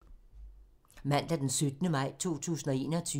Mandag d. 17. maj 2021